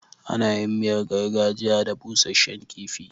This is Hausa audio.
Ana yin miyar gargajiya da busashshen kifi.